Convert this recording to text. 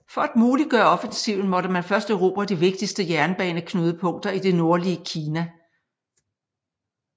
For at muliggøre offensiven måtte man først erobre de vigtigste jernbaneknudepunkter i det nordlige Kina